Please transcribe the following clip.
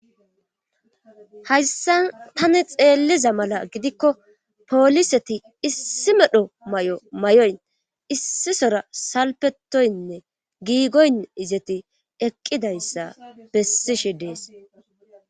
Hayssan tani xeelliza mala gidikko pooliseti issi medho may7o may7oyn issisora salpetoynne giigoyn izeti eqqidayssa bessishi dees